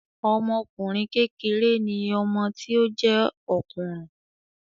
Ọmọkùnrin kékeré ni ọmọ tí ó jé òkùnrùn